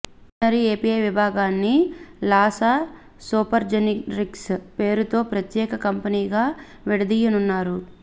veterinary API విభాగాన్ని Laasa Supergenerics పేరుతో ప్రత్యేక కంపెనీగా విడదీయనున్నారు